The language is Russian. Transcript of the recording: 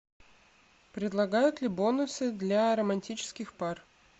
предлагают ли бонусы для романтических пар